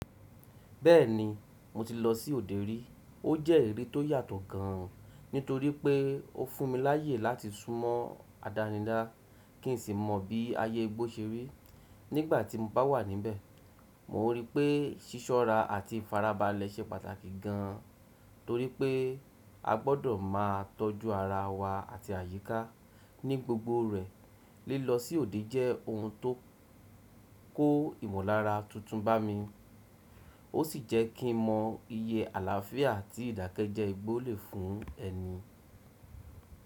Bẹ́ẹ̀ni, mo ti lọ sí òde rí. Ó jẹ́ èrè tó yàtọ̀ gan, nítorí pé ó fún mi láyè láti sùnmọ́ àdánidá kín sì mọ bí ayé igbó ṣe rí. Nígbà tí mo bá wà níbẹ̀, mo rí pé sísọ́ra àti farabalẹ̀ ṣe pàtàkì gan, torí pé a gbọ́dọ̀ máa tọ́jú ara wa àti àyíká ní gbogbo rẹ̀. Lílọ sí òde jẹ́ ohun tó kó ìmọ̀lára tuntun bá mi, ó sì jẹ́ kí n mọ iye àlàáfíà tí ìdákẹ́jẹ igbó le fún ẹni.